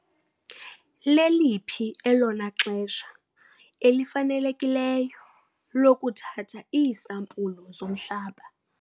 Leliphi elona xesha lifanelekileyo lokuthatha iisampulu zomhlaba?